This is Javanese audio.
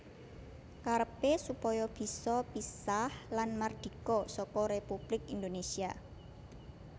Karepé supaya bisa pisah lan mardika saka Républik Indonésia